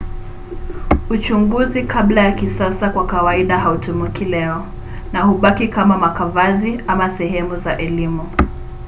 uchunguzi kabla ya kisasa kwa kawaida hautumiki leo na hubaki kama makavazi ama sehemu za elimu